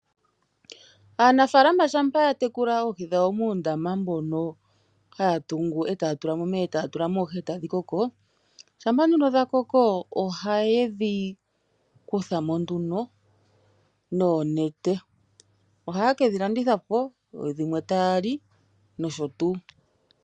Aanafaalama shampa ya tekula oohi dhawo muundama mbono haya tungu e taya tula mo omeya, e taya tula mo oohi e tadhi koko, ohaye dhi kutha mo nduno noonete. Ohaye ke dhi landitha po, dhimwe taya li nosho tuu.